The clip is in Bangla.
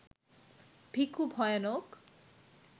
ভিখু ভয়ানক